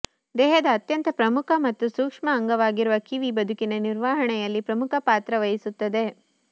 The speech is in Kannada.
ದೇಹದ ಅತ್ಯಂತ ಪ್ರಮುಖ ಮತ್ತು ಸೂಕ್ಷ್ಮ ಅಂಗವಾಗಿರುವ ಕಿವಿ ಬದುಕಿನ ನಿರ್ವಹಣೆಯಲ್ಲಿ ಪ್ರಮುಖ ಪಾತ್ರ ವಹಿಸುತ್ತದೆ